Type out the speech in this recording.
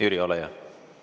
Jüri, ole hea!